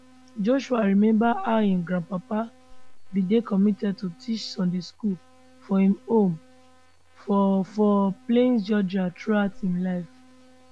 joshua remember how im grandfather bin dey committed to teach sunday school for im home for for plains georgia throughout im life